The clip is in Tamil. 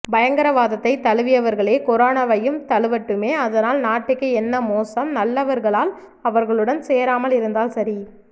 பயங்கரவாதத்தை தழுவியவர்களே கொரோனவையும் தழுவட்டுமே அதனால் நாட்டுக்கு என்ன மோசம் நல்லவர்களால் அவர்களுடன் சேராமல் இருந்தால் சரி